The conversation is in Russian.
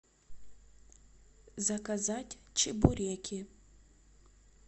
заказать чебуреки